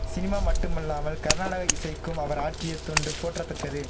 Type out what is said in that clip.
cinema மட்டுமல்லாமல் கர்நாடக இசைக்கும் அவர் ஆற்றிய தொண்டு போற்றத்தக்கது